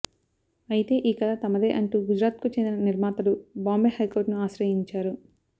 అయితే ఈ కధ తమదే అంటూ గుజరాత్కు చెందిన నిర్మాతలు బాంబే హైకోర్టును ఆశ్రయించారు